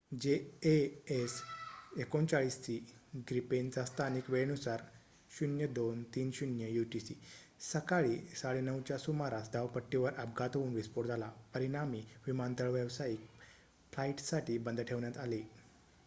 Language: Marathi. जेएएस 39सी ग्रिपेनचा स्थानिक वेळेनुसार 0230 यूटीसी सकाळी 9:30 च्या सुमारास धावपट्टीवर अपघात होऊन विस्फोट झाला परिणामी विमानतळ व्यावसायिक फ्लाईट्ससाठी बंद ठेवण्यात आले